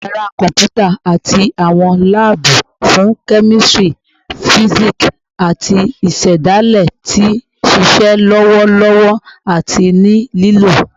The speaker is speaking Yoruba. Yara kọmputa ati awọn laabu fun kemistri, fisiksi, ati isedale ti nṣiṣe lọwọ lọwọlọwọ ati ni lilo